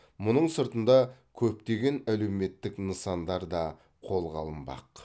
мұның сыртында көптеген әлеуметтік нысандар да қолға алынбақ